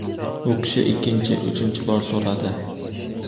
U kishi ikkinchi, uchinchi bor so‘radi.